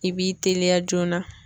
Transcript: I b'i teliya joona.